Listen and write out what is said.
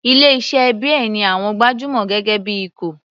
Ilé iṣẹ́ beer ní àwọn gbajúmọ̀ gẹ́gẹ́ bí ikọ̀.